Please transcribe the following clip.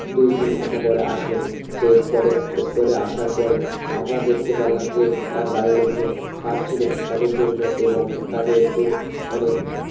দুই তিন ঘন্টা পরে আসলো সে spot এ spot এ আসার পরে আমরা দেখতে পারলাম যে তার বাড়ির লোকজন কাদছিলো তাদের জন্য এবং তাদেরকে অনেক